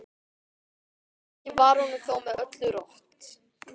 Ekki var honum þó með öllu rótt.